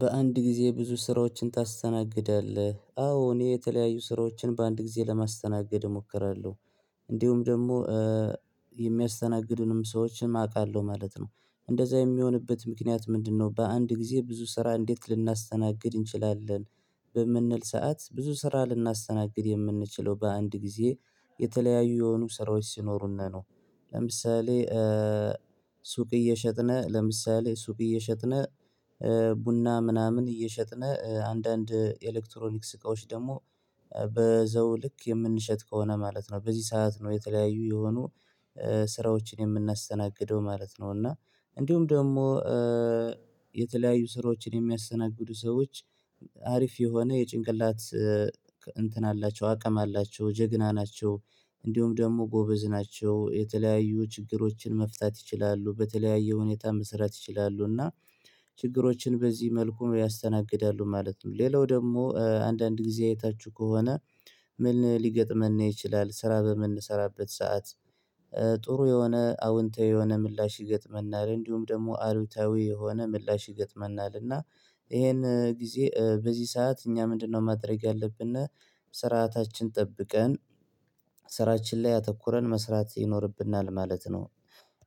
በአንድ ጊዜ ብዙ ስራዎችን ታስተናግዳለህ? አዎ እኔ የተለያዩ ስራዎችን በአንድ ጊዜ ለማስተናገድ እሞክራለሁ እንዲሁም ደግሞ የሚያስተናግዱንም ሰዎችን አውቃለሁ ማለት ነው እንደዛ የሚሆንበት ምክንያት ምንድነው በአንድ ጊዜ ብዙ ስራ እንዴት ልናስተናግድ እንችላለን በምንል ሰዓት ብዙ ስራ ልናስተናግድ የምንችለው በአንድ ጊዜ የተለያዩ የሆኑ ስራዎች ሲኖሩን ነው ለምሳሌ ሱቅ እየሸጥነ ለምሳሌ ሱቅ እየሸጥነ ቡና ምናምን እየሸጥን አንዳንድ የኤሌክትሮኒክስ እቃዎች ደግሞ በዛው ልክ የምንሸጥ ከሆነ ማለት ነው በዚህ ሰዓት ነው የተለያዩ የሆኑ ስራዎችን የምናስተናግደው ማለት ነው እና እንዲሁም ደግሞ የተለያዩ ስራዎችን የሚያስተናግዱ ሰዎች አሪፍ የሆነ የጭንቅላት እንትን አላቸው አቅም አላቸው ጀግና ናቸው እንዲሁም ደግሞ ጎበዝ ናቸው የተለያዩ ችግሮችን መፍታት ይችላሉ በተለያየ ሁኔታ መስራት ይችላሉ እና ችግሮችን በዚህ መልኩ ያስተናግዳሉ ማለት ነው ሌላው ደግሞ አንዳንድ ጊዜ አይታችሁ ከሆነ ምን ሊገጥመን ይችላል ስራ በምንሰራበት ሰዓት ጥሩ የሆነ አዎንታዊ የሆነ ምላሽ ይገጥመናል እንዲሁም ደግሞ አሉታዊ የሆነ ምላሽ ይገጥመናል እና ይሄን ጊዜ በዚህ ሰዓት እኛ ምንድነው ማድረግ ያለብን ስርዓታችን ጠብቀን ስራችን ላይ አተኩረን መስራት ይኖርብናል ማለት ነው